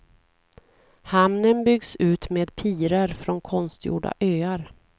Hamnen byggs ut med pirer från konstgjorda öar.